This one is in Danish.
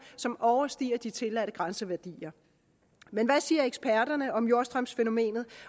som overstiger de tilladte grænseværdier men hvad siger eksperterne om jordstrømsfænomenet